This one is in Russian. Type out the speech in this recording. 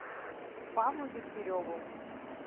павлу дегтяреву